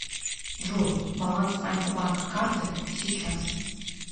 джой баланс альфа банк карты сейчас